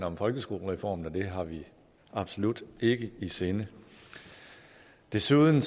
om folkeskolereformen og det har vi absolut ikke i sinde desuden